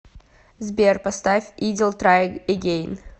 сбер поставь идил трай эгейн